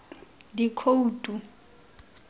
dikhoutu